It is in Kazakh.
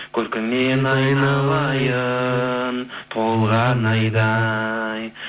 көркіңнен айналайын толған айдай